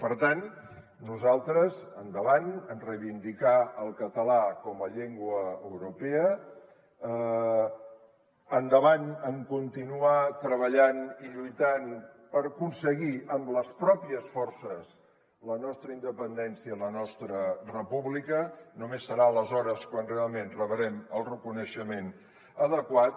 per tant nosaltres endavant en reivindicar el català com a llengua europea endavant en continuar treballant i lluitant per aconseguir amb les pròpies forces la nostra independència i la nostra república només serà aleshores quan realment rebrem el reconeixement adequat